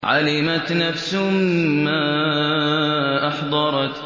عَلِمَتْ نَفْسٌ مَّا أَحْضَرَتْ